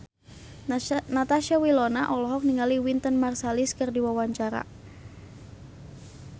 Natasha Wilona olohok ningali Wynton Marsalis keur diwawancara